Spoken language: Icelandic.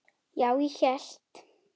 Já, ég hélt.